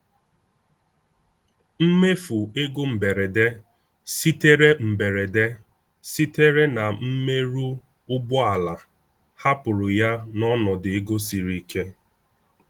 Mmefu ego mberede sitere mberede sitere na mmerụ ụgbọala hapụrụ ya n’ọnọdụ ego siri ike.